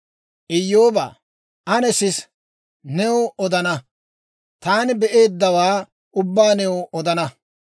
«Iyyoobaa, ane sisa! new odana; taani be'eeddawaa ubbaa new odana.